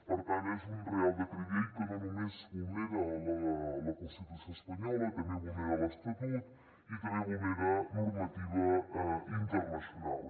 per tant és un reial decret llei que no només vulnera la constitució espanyola també vulnera l’estatut i també vulnera normativa internacional